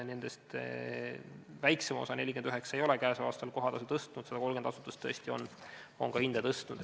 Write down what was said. Nendest väiksem osa, 49 asutust ei ole käesoleval aastal kohatasu tõstnud, aga 130 tõesti on ka hinda tõstnud.